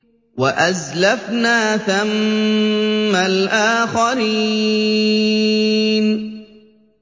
وَأَزْلَفْنَا ثَمَّ الْآخَرِينَ